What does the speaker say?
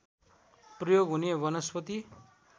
प्रयोग हुने वनस्पति